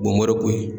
Bomɔroko ye